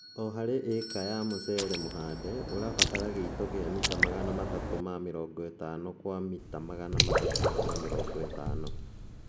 O harĩ ĩka ya mũcere mũhande, ũrabatala gĩito gia mita magana matatũ ma mĩrongo ĩtano kwa mita magana matatũ ma mĩrongo ĩtano